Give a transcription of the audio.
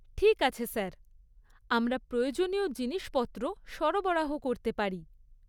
ঠিক আছে স্যার। আমরা প্রয়োজনীয় জিনিসপত্র সরবরাহ করতে পারি।